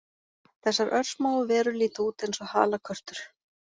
Þessar örsmáu verur líta út eins og halakörtur